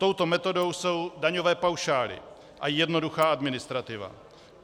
Touto metodou jsou daňové paušály a jednoduchá administrativa.